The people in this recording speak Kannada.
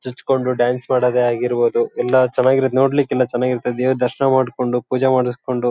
ಚುಚ್ ಕೊಂಡು ಡ್ಯಾನ್ಸ್ ಮಾಡೋದೇ ಆಗಿರಬೋದು ಎಲ್ಲಾ ಚನಾಗಿರತ್ತೆ ನೋಡ್ಲಿಕ್ ತುಂಬಾ ಚನಾಗಿರತ್ತೆ ದೇವ್ರ್ ದರ್ಶನ ಮಾಡ್ಕೊಂಡು ಪೂಜೆ ಮಾಡ್ಸ್ಕೊಂಡು --